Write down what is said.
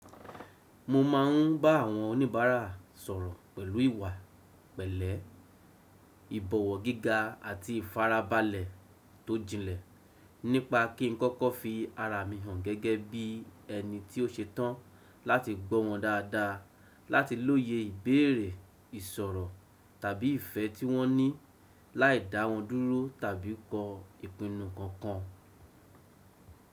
Mo ma ń bá àwọn oníbàárà sọ̀rọ̀ pẹ̀lú ìwà pẹ̀lẹ́, ìbọ̀wọ̀ giga àti ìfarabalẹ̀ tó jinlẹ̀ nípa kí n kọ́kọ́ fi ara mi hàn gẹ́gẹ́ bí ẹni tí ó ṣe tán láti gbọ́ wọn dáadáa, láti lóye ìbéèrè, ìsọ̀rọ̀ tàbí ìfẹ́ tí wọ́n ní láìdá wọn dúro tàbí kọ ipinnù kankan.